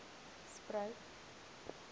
spruit